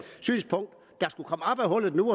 hullet nu